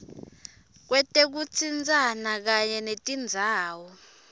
kwetekutsintsana kanye netindzawo